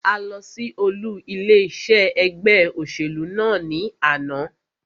A lọ sí olú ilé iṣé ẹgbẹ́ òṣèlú náà ní àná.